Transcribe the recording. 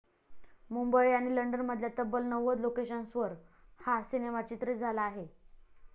मुंबई आणि लंडनमधल्या तब्बल नव्वद लोकेशन्सवर हा सिनेमा चित्रीत झाला आहे.